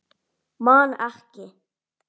Man ekki.